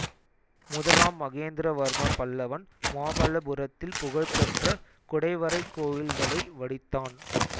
முதலாம் மகேந்திரவர்ம பல்லவன் மாமல்லபுரத்தில் புகழ்பெற்ற குடைவரைக் கோயில்களை வடித்தான்